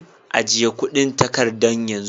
Ajiye kudin takardan yan zu.